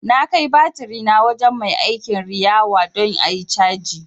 Na kai batirina wajen mai aikin riwaya don ayi caji